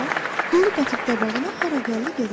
Yolu qatıb qabağına hara gəldi gedər.